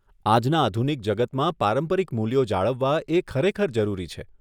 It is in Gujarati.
આજના આધુનિક જગતમાં પારંપરિક મૂલ્યો જાળવવા એ ખરેખર જરૂરી છે.